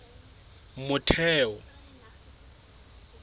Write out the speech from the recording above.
motheo